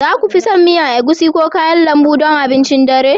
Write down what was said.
za ku fi son egusi miya ko kayan lambu don abincin dare